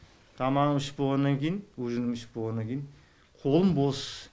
тамағымды ішіп болғаннан кейін ужинымды ішіп болғаннан кейін қолым бос